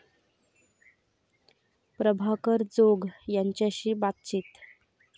प्रभाकर जोग यांच्याशी बातचीत